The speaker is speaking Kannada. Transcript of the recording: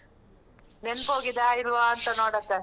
ನೆನ್ಪೋಗಿದ ಇಲ್ವಾ ಅಂತ ನೋಡೋಕ